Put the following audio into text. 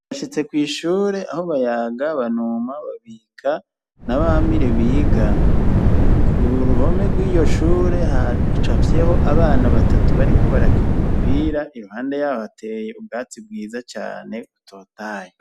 Bashitse kw'ishure aho bayaga banuma babika nabamire biga ku ruhome rw'iyo shure hacafyeho abana batatu bariko barakina umupira iruhande yaho hateye ubwatsi bwiza cane utotayo.